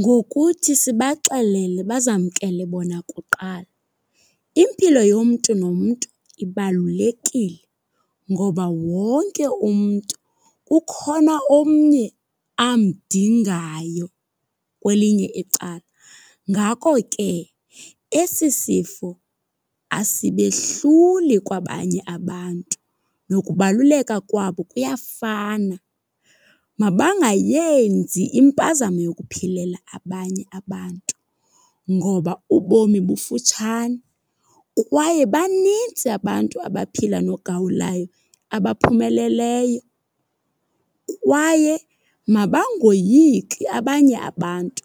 Ngokuthi sibaxelele bazamkele bona kuqala. Impilo yomntu nomntu ibalulekile. Ngoba wonke umntu ukhona omnye amdingayo kwelinye icala. Ngako ke esi sifo asibehluli kwabanye abantu, nokubaluleka kwabo kuyafana. Mabangayenzi impazamo yokuphilela abanye abantu ngoba ubomi bufutshane. Kwaye banintsi abantu abaphila nogawulayo abaphumeleleyo. Kwaye mabangoyiki abanye abantu